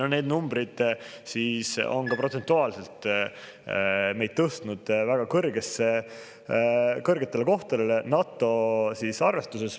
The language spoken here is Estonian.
Need numbrid on ka protsentuaalselt meid tõstnud väga kõrgetele kohtadele NATO arvestuses.